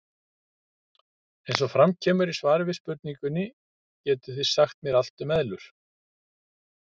Eins og fram kemur í svari við spurningunni Getið þið sagt mér allt um eðlur?